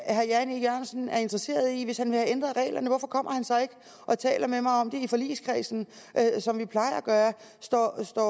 er herre jan e jørgensen er interesseret i hvis han vil have ændret reglerne hvorfor kommer han så ikke og taler med mig om det i forligskredsen som vi plejer at gøre står står